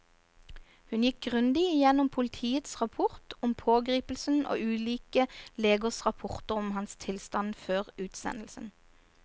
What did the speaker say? Hun gikk grundig gjennom politiets rapport om pågripelsen og ulike legers rapporter om hans tilstand før utsendelsen.